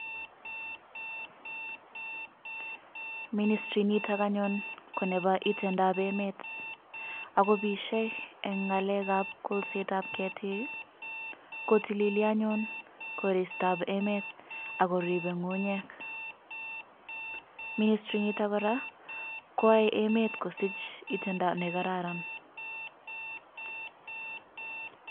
Ministirit niton konebo itondab emet akobishe en ng'alekab kolsetab ketik kotililii anyun koristab emet ak koribe ng'ung'unyek, ministriniton kora koyoe emet kosich itondo nekararan.